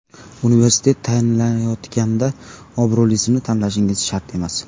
Universitet tanlayotganda obro‘lisini tanlashingiz shart emas.